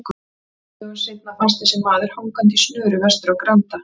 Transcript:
Nokkrum dögum seinna fannst þessi maður hangandi í snöru vestur á Granda.